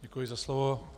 Děkuji za slovo.